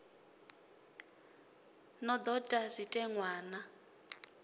no do ta zwitenwa na